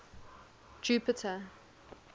jupiter